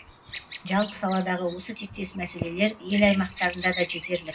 жалпы саладағы осы тектес мәселелер ел аймақтарында да жетерлік